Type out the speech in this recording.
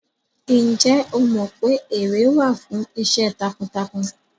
Ǹjẹ́ o mọ pé ère wà fún iṣẹ́ takuntakun?